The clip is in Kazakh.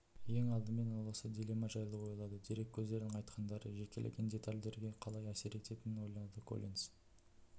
ең алдымен ол осы дилемма жайлы ойлады дереккөздердің айтқандары жекелеген детальдерге қалай әсер ететінін ойлады коллинс